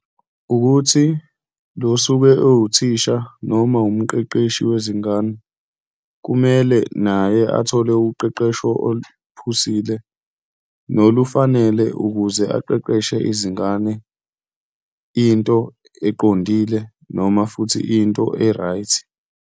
Wukuthi lo osuke ewuthisha noma umqeqeshi wezingane, kumele naye athole uqeqesho oluphusile, nolufanele ukuze aqeqeshe izingane into eqondile noma futhi into e-right.